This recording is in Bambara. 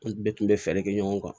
An bɛɛ tun bɛ fɛɛrɛ kɛ ɲɔgɔn kan